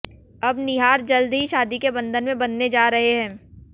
अब निहार जल्द ही शादी के बंधन में बंधने जा रहे हैं